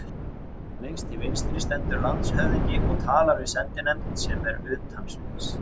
Lengst til vinstri stendur landshöfðingi og talar við sendinefnd, sem er utan sviðs.